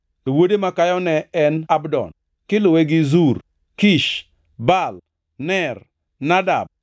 to wuode makayo ne en Abdon, kiluwe gi Zur, Kish, Baal, Ner, Nadab,